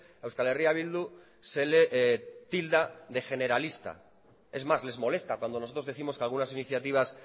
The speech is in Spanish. a euskal herria bildu se le tilda de generalista es más les molesta cuando nosotros décimos que algunas iniciativas